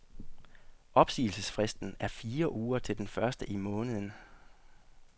Opsigelsesfristen er fire uger til den første i måneden.